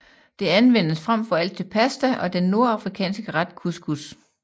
Det anvendes frem for alt til pasta og den nordafrikanske ret couscous